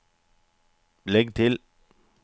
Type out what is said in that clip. legg til